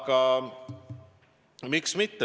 Aga miks mitte?